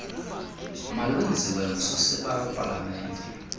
malwenziwe ngusosiba wepalamente